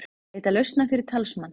Leita lausna fyrir talsmann